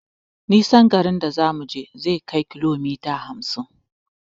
Nisan garin a zamuje zai kai kilomita hamsin